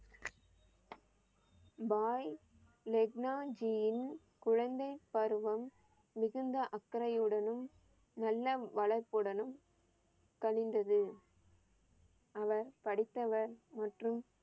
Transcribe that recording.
பாய் லெக்ன்னா ஜியின் குழந்தை பருவம் மிகுந்த அக்கறையுடனும் நல்ல வளர்ப்புடனும் கழிந்தது. அவர் படித்தவர் மற்றும்